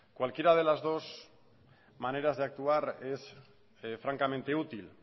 cualquiera de las dos maneras de actuar es francamente útil